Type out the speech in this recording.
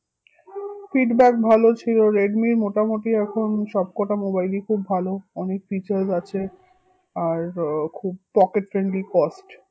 Feedback ভালো ছিল রেডমির মোটামুটি এখন সবকটা mobile ই খুব ভালো অনেক features আছে, আর আহ খুব pocket friendly cost